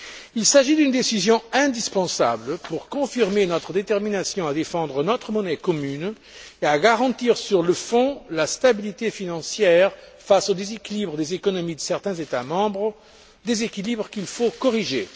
Il s'agit d'une décision indispensable pour confirmer notre détermination à défendre notre monnaie commune et à garantir sur le fond la stabilité financière face au déséquilibre des économies de certains États membres, déséquilibre qu'il faut corriger.